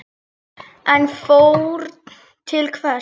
En fórn til hvers?